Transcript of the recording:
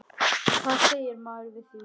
Hvað segir maður við því?